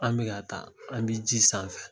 An bɛ ka taa an bi ji sanfɛ.